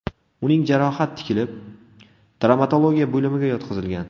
Uning jarohat tikilib, travmatologiya bo‘limiga yotqizilgan.